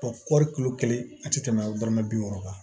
kɔri kulo kelen a tɛ tɛmɛ dɔrɔmɛ bi wɔɔrɔ kan